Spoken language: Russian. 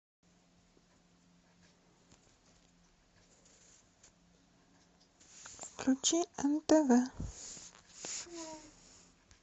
включи нтв